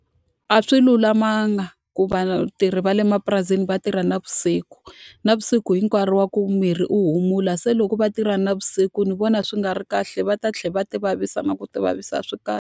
A swi lulamanga ku vatirhi va le mapurasini va tirha navusiku. Navusiku i nkarhi wa ku miri wu humula, se loko va tirha navusiku ndzi vona swi nga ri kahle. Va ta tlhela va ti vavisa na ku ti vavisa. A swi kahle.